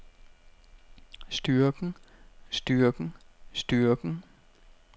styrken styrken styrken